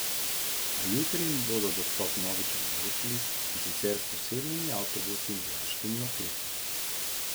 A jutri jim bodo dostop vnovič omogočili, in sicer s posebnimi avtobusi in vojaškimi oklepniki.